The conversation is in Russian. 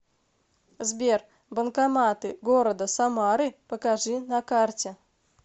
сбер банкоматы города самары покажи на карте